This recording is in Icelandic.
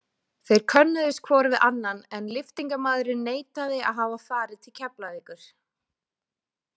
Þeir könnuðust hvor við annan en lyftingamaðurinn neitaði að hafa farið til Keflavíkur.